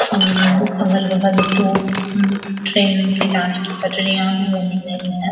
अगल-बगल दो ट्रेन के जाने की पटरियाँ भी बनी हुइ है ।